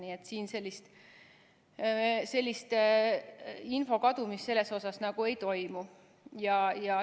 Nii et siin info kadumist selles osas nagu ei toimu.